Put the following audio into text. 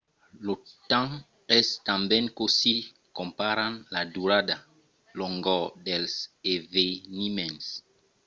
lo temps es tanben cossí comparam la durada longor dels eveniments